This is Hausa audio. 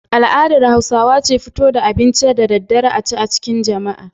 Al'adar Hausawa ce fito da abinci da daddare a ci a cikin jama'a.